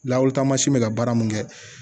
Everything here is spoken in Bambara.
Lawitama si be ka baara mun kɛ